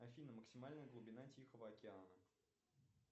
афина максимальная глубина тихого океана